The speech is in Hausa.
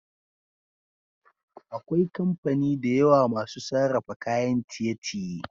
akwai kamfani dayawa masu sarrafa kayan ciye ciye